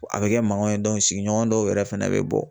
A bɛ kɛ mankan ye sigiɲɔgɔn dɔw yɛrɛ fɛnɛ bɛ bɔ